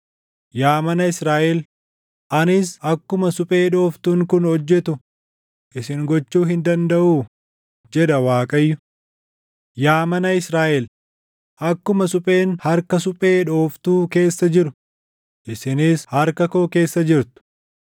“Yaa mana Israaʼel, anis akkuma suphee dhooftuun kun hojjetu isin gochuu hin dandaʼuu?” jedha Waaqayyo. “Yaa mana Israaʼel, akkuma supheen harka suphee dhooftuu keessa jiru isinis harka koo keessa jirtu.